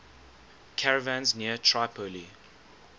caravans near tripoli